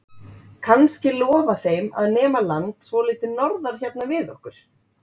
Kannski lofa þeim að nema land svolítið norðar hérna við okkur?